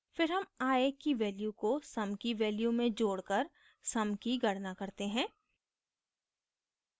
फिर sum i की value को sum की value में जोडकर sum की गणना करते हैं